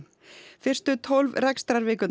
fyrstu tólf